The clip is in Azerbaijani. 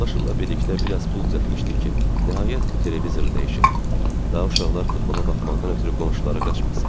Yoldaşımla birlikdə biraz pul düzəltmişdik ki, nəhayət bu televizoru dəyişək, daha uşaqlar futbola baxmaqdan ötrü qonşulara qaçmasın.